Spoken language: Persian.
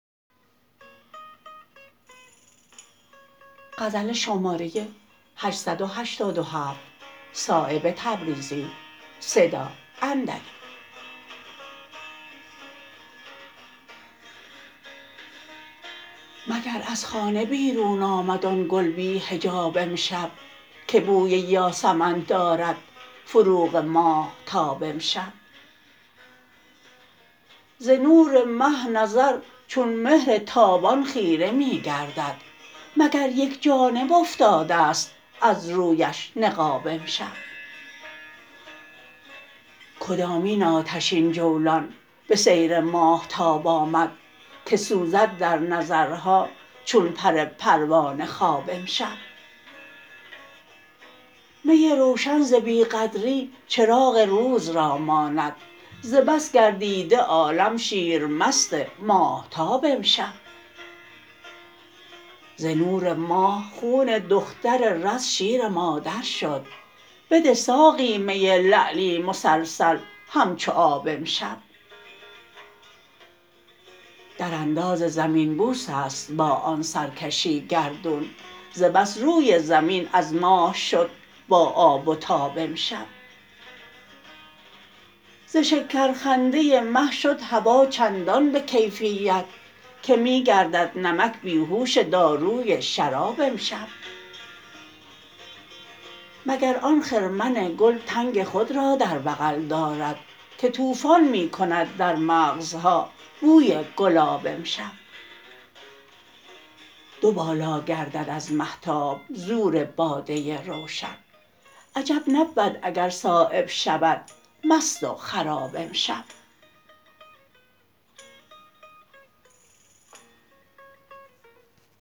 مگر از خانه بیرون آمد آن گل بی حجاب امشب که بوی یاسمن دارد فروغ ماهتاب امشب ز نور مه نظر چون مهر تابان خیره می گردد مگر یک جانب افتاده است از رویش نقاب امشب کدامین آتشین جولان به سیر ماهتاب آمد که سوزد در نظرها چون پر پروانه خواب امشب می روشن ز بی قدری چراغ روز را ماند ز بس گردیده عالم شیر مست ماهتاب امشب ز نور ماه خون دختر رز شیر مادر شد بده ساقی می لعلی مسلسل همچو آب امشب درانداز زمین بوس است با آن سرکشی گردون ز بس روی زمین از ماه شد با آب و تاب امشب ز شکر خنده مه شد هوا چندان به کیفیت که می گردد نمک بیهوش داروی شراب امشب مگر آن خرمن گل تنگ خود را در بغل دارد که طوفان می کند در مغزها بوی گلاب امشب دو بالا گردد از مهتاب زور باده روشن عجب نبود اگر صایب شود مست و خراب امشب